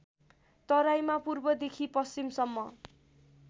तराईमा पूर्वदेखि पश्चिमसम्म